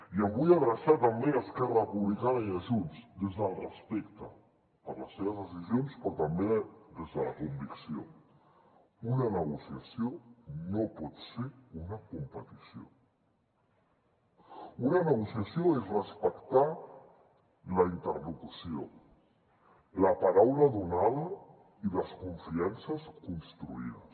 i em vull adreçar també a esquerra republicana i a junts des del respecte per les seves decisions però també des de la convicció una negociació no pot ser una competició una negociació és respectar la interlocució la paraula donada i les confiances construïdes